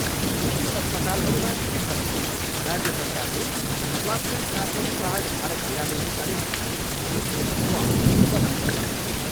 निजी अस्पतालहरूमा शीघ्र नै राज्य सरकारले स्वास्थ्य साथी कार्ड धारक बिरामीहरूका निम्ति विशेष वार्ड बनाउने छ।